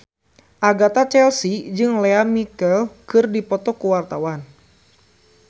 Agatha Chelsea jeung Lea Michele keur dipoto ku wartawan